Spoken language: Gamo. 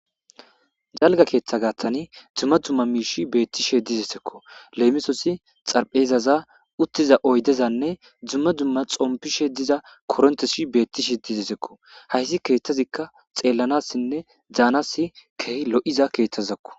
Daliga keththa gaththan duma duma mishi betishe dizaysako lemisos xariphesaza uttiza oydezane duma duma xomipishe diza koronteti betishe dizaysako hayssi keththazika xellanasine danas kehi lo'iza keththazako.